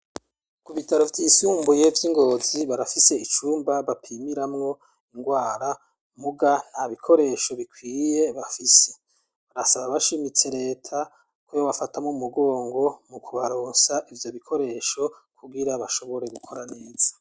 Ku bitaro vyisumubuye vy'i Ngozi barafise icumba bapimiramwo ingwara muga nta bikoresho bikwiye bafise. Basaba bashimitse leta ko yobafata mu mugongo mu kubaronsa ivyo bikoresho kugira bashobore gukora neza.